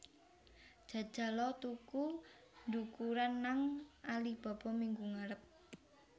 Jajal o tuku ndukuran nang Alibaba minggu ngarep